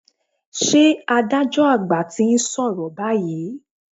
Ṣé adájọ́ àgbà ti ń sọ̀rọ̀ báyìí?